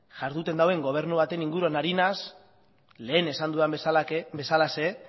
jarduten duen gobernu baten inguruan ari naiz lehen esan dudan bezalaxe